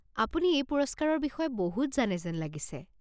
আপুনি এই পুৰস্কাৰৰ বিষয়ে বহুত জানে যেন লাগিছে।